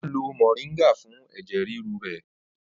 O n lo moringa fún ẹ̀jẹ̀ ríru rẹ̀